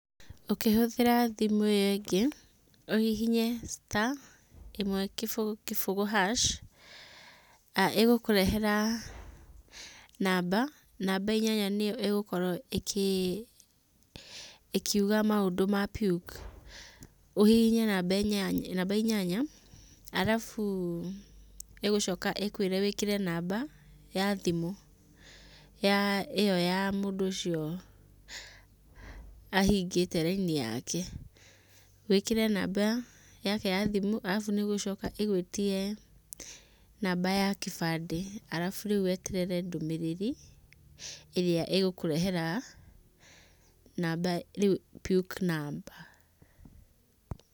Ũkĩhũthĩra thimũ iyo ĩngĩ ũhihinye star ĩmwe kĩbũgũ kĩbũgũ hash ĩgũkũrehera namba, namba inanya nĩyo ĩgũkorwo ĩkiuga maũndũ ma PUK ũhihinye namba inyanya arabu ĩgũcoka ĩkwĩre wĩkĩre namba ya thimũ ĩyo ya mũndũ ũcio ahingĩte raini yake, wĩkĩre namba yake ya thimũ arabu nĩgũcoka ĩgwĩtie namba ya kĩbandĩ arabu rĩu weterere ndũmĩrĩri ĩrĩa ĩgũkũrehera rĩu PUK namba.